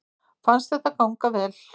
Fannst þetta ganga vel